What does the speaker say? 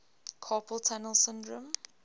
carpal tunnel syndrome